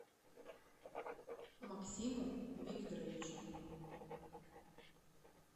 максиму викторовичу